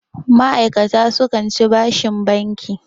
ma'aikata sukan ci bashin banki